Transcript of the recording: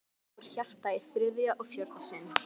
Og svo fór hjartað í þriðja og fjórða sinn.